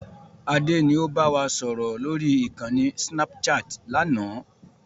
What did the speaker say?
Adé ni ó bá wa sọ̀rọ̀ lórí ìkànnì snapchat láánaà